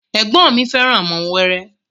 Ẹ̀gbọ́n ọn mi fẹ́ràn àwọn ọmọ wẹrẹ